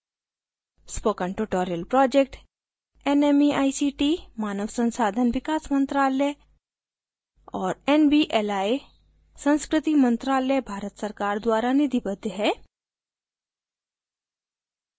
spoken tutorial project nmeict मानव संसाधन विकास मंत्रालय और nvli संस्कृति मंत्रालय भारत सरकार द्वारा निधिबद्ध है